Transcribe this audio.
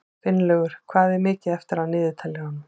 Finnlaugur, hvað er mikið eftir af niðurteljaranum?